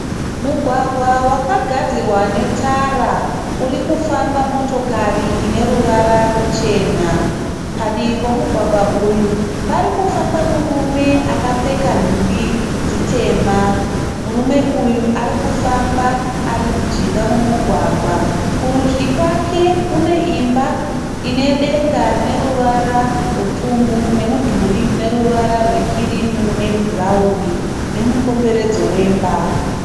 Mugwagwa wakagadzirwa netara. Urikufamba motokari ine ruvara ruchena. Padivi pomugwagwa uyu parikufamba murume akapfeka nhumbi dzitema. Murume uyu arikufamba arimujinga momugwagwa. Kurudyi kwake kune imba ine denga rine ruvara rwepfumbu nemudhuri une ruvara rwekirimu nebhurauni nemukomberedzo wemba.